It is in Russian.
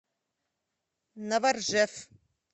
новоржев